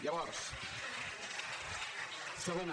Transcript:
llavors segona